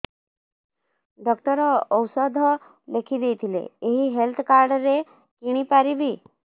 doctor ଔଷଧ ଲେଖିଦେଇଥିଲେ ଏଇ ହେଲ୍ଥ କାର୍ଡ ରେ କିଣିପାରିବି